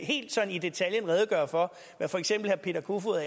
helt sådan i detaljen redegøre for hvad for eksempel herre peter kofod